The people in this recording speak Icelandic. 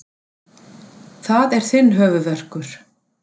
Það er þinn höfuðverkur.